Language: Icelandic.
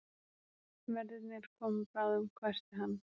Verðirnir koma bráðum hvæsti hann.